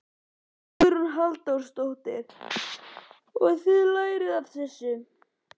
Hugrún Halldórsdóttir: Og þið lærið af þessu?